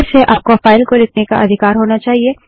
फिर से आपको फाइल को लिखने का अधिकार होना चाहिए